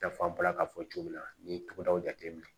Yaf'an bɔra ka fɔ cogo min na nin ye tugudaw jate minɛ